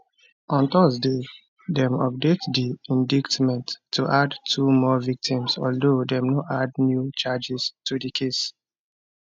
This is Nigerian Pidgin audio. on thursday dem update di indictment to add two more victims although dem no add new charges to di case